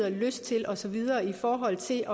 og lyst til og så videre i forhold til